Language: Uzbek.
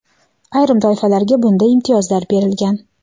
ayrim toifalarga bunda imtiyozlar berilgan.